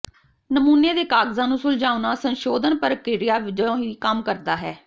ਨਮੂਨੇ ਦੇ ਕਾਗਜ਼ਾਂ ਨੂੰ ਸੁਲਝਾਉਣਾ ਸੰਸ਼ੋਧਨ ਪ੍ਰਕਿਰਿਆ ਵਜੋਂ ਵੀ ਕੰਮ ਕਰਦਾ ਹੈ